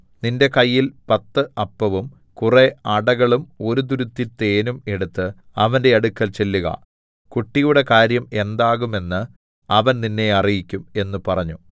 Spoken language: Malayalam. നിന്റെ കയ്യിൽ പത്ത് അപ്പവും കുറെ അടകളും ഒരു തുരുത്തി തേനും എടുത്ത് അവന്റെ അടുക്കൽ ചെല്ലുക കുട്ടിയുടെ കാര്യം എന്താകും എന്ന് അവൻ നിന്നെ അറിയിക്കും എന്ന് പറഞ്ഞു